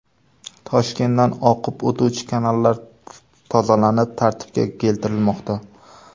Toshkentdan oqib o‘tuvchi kanallar tozalanib, tartibga keltirilmoqda .